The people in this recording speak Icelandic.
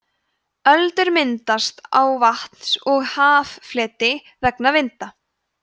öldur myndast á vatns eða haffleti vegna vinda